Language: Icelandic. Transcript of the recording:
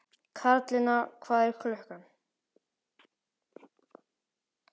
Karlinna, hvað er klukkan?